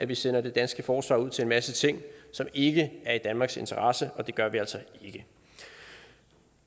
vi sender det danske forsvar ud til en masse ting som ikke er i danmarks interesse og det gør vi altså ikke